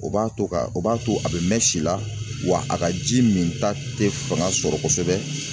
O b'a to ka o b'a to a bɛ mɛn si la wa a ka ji minta tɛ fanga sɔrɔ kosɛbɛ.